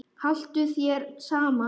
Haltu þér saman